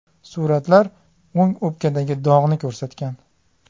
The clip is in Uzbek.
Suratlar o‘ng o‘pkadagi dog‘ni ko‘rsatgan.